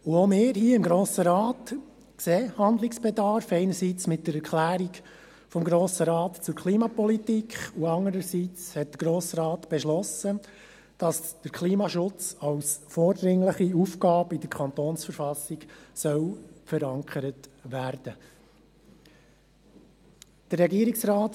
Und auch wir hier im Grossen Rat sehen Handlungsbedarf, einerseits mit der Erklärung des Grossen Rates zur Klimapolitik , und andererseits hat der Grosse Rat beschlossen, dass der Klimaschutz als vordringliche Aufgabe in der Verfassung des Kantons Bern (KV) verankert werden soll